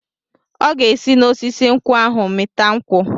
Ọ ga-esi n'osisi nkwụ ahụ mịta nkwụ.